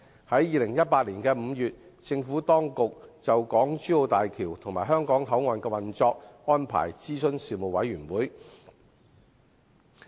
在2018年5月，政府當局就港珠澳大橋及香港口岸的運作安排諮詢事務委員會。